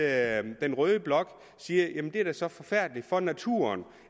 at den røde blok siger at det er så forfærdeligt for naturen